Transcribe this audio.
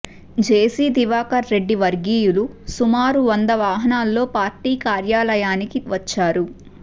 జెసి దివాకర్ రెడ్డి వర్గీయులు సుమారు వంద వాహనాల్లో పార్టీ కార్యాలయానికి వచ్చారు